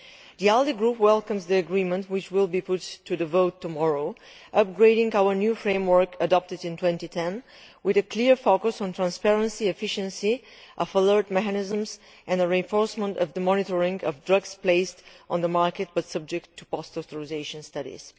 The ALDE group welcomes the agreement, which will be put to the vote tomorrow, upgrading our new framework adopted in 2010 with a clear focus on transparency, efficiency, follow up mechanisms and the reinforcement of the monitoring of drugs placed on the market but subject to post authorisation studies.